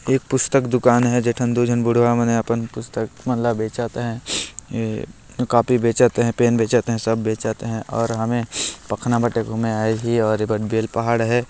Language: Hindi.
एक पुस्तक दुकान है जेठन दो झन बुढ़वा मन हे अपन पुस्तक मन ला बेचत है ए कापी बेचत है पेन बेचत है सब बेचत है और हमें पखना बटे को में आये ही और ये बन बिल पहाड़ है।